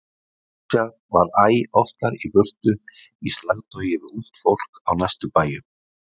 Richard var æ oftar í burtu í slagtogi við ungt fólk á næstu bæjum.